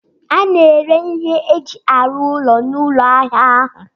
A na-ere ihe eji arụ ụlọ n'ụlọ ahịa ahụ